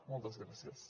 moltes gràcies